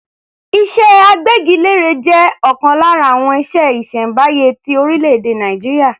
Iṣẹ́ agbẹ́gilére jẹ́ ọ̀kan lára àwọn iṣẹ́ ìṣẹ̀m̀báyé ti orílẹ̀-èdè Nàìjíríà.